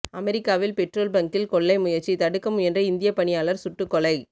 அமெரிக்காவில் பெட்ரோல் பங்கில் கொள்ளை முயற்சி தடுக்க முயன்ற இந்தியப் பணியாளர் சுட்டுக் கொலை